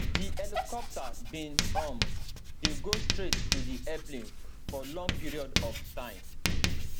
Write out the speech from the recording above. di helicopter bin um dey go straight to di airplane for long period of time